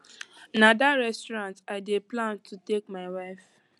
na dat restaurant i dey plan to take my wife